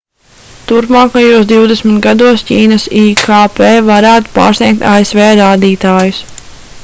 turpmākajos divdesmit gados ķīnas ikp varētu pārsniegt asv rādītājus